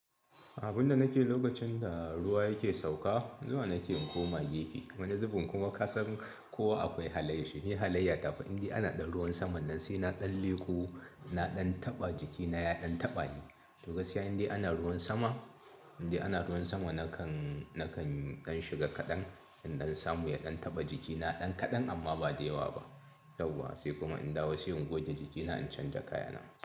Abin da nake lokacin da ruwa yake sauka, zuwa nake in koma gefe. Wani zubin kuma kasan kowa akwai halayyar shi, ni halayya ta fa indai ana ɗan ruwan saman nan, sai na ɗan leko, na ɗan taɓa jikina, ya ɗan taɓa ni. To gaskiya indai ana ruwan sama, indai ana ruwan sama nakan, nakan ɗan shiga kaɗan. Indan samu ya ɗan taɓa jikina, ɗan kaɗan amma ba da yawa ba, yawwa sai kuma in dawo sai in goge jikina, in canja kaya na.